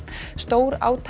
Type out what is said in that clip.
stórátaki